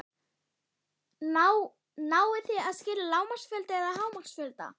Jóhann: Náið þið að skila lágmarksfjölda eða hámarksfjölda?